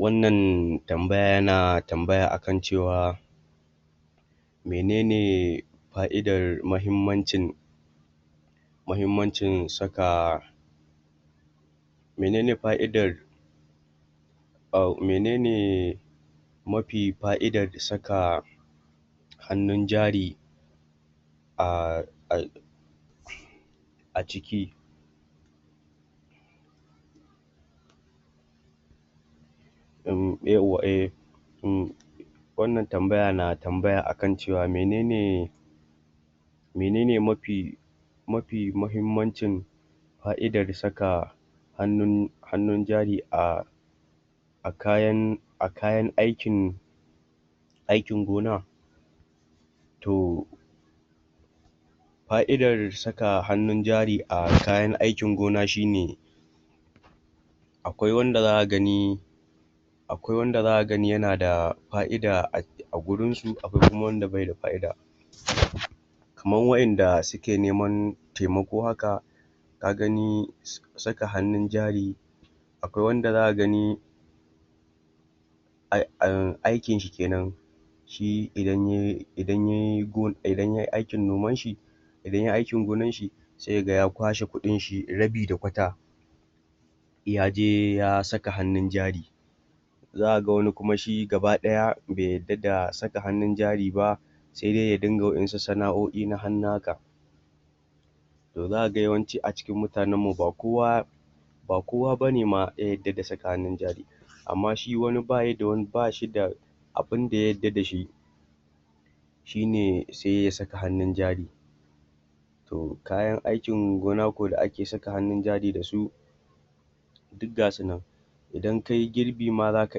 Wannan tambaya yana tambaya akan cewa menene faidar muhimmancin mahimmancin saka menen fa'idar ahh menene mafi faidar saka hannun jari, ahhh a a ciki umm umm 'yawwa ehh wannan tanbaya na tambaya akan cewa menene menene mafi mahimmancin faidar saka hannun hannun jari a a kayan a kayan aikin aikin gona? To, fa'idar saka hannun jari a kayan aikin gona shine, akwai wanda zaka gani akwai wanda zaka gani yana da fa'ida a gurinsu akwai kuma wanda bai da fa'ida kaman wa'inda suke neman taimako haka, ka gani saka hannun jari, akai wanda zaka gani aikin shi kenan, shi idan yai aikin noman shi idan yai aikin goanshi, sai ka ga ya kwashe kuɗin shi, rabi da kwata, ya je ya saka hannun jari, za ka ga wani kuma shi gaba ɗaya bai yadda da saka hannun jari ba, sai dai ya inga wasu sana'o'i na hannu haka. To zaka ga yawanci a cikin mutanenmu ba kowa ba kowa bane ma ya yadda da saka hannun jari, amma shi wani ba shi da abunda ya yadda da shi shine sai ya saka hannun jari. To kayan aikin gona kuwa da ake saka hannun jari da su, duk ga sunan idan kayi girbi ma zaka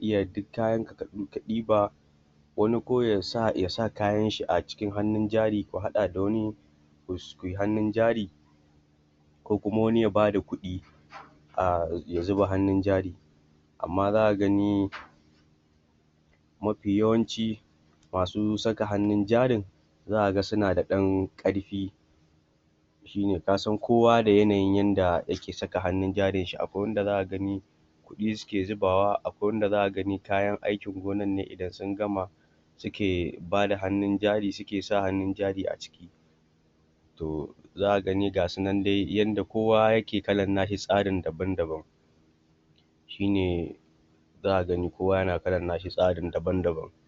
iya duk kayanka ka ɗiba, wani ko ya sa kayanshi a cikin hannun jari ko ya haɗa da wani kui hannun jari, ko kuma wani ya bada kuɗi a ya zuba hannun jari, amma za ka gani mafi yawanci masu saka hannun jarin za ka ga suna da ɗan ƙarfi. Shine ka san kowa da yanayin yanda yake saka hannun jarin shi, akwai wanda zaka gani kuɗi suke zubawa akwai wanda zaka gani kayan aikin gonanne idan sun gama suke bada hannun jari, suke sa hannun jari a ciki. To za ka gani ga su nan dai yanda kowa yake kalan na shi tsarin daban-daban shine za ka gani kowa yana kalan nashi tsarin daban-daban.